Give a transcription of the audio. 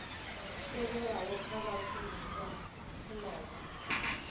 tevhelaho kha vhashumi vha tshumelo